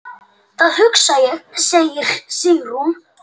Það hugsa ég, segir Sigrún.